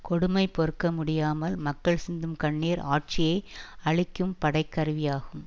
கொடுமை பொறுக்க முடியாமல் மக்கள் சிந்தும் கண்ணீர் ஆட்சியை அழிக்கும் படைக்கருவியாகும்